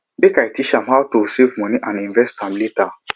make i teach am how to save moni and invest am later